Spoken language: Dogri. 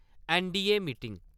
ऐन्न.डी.ए. मीटिंग